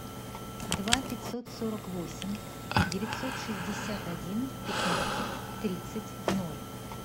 два пятьсот сорок восемь девятьсот шестьдесят один пятнадцать тридцать ноль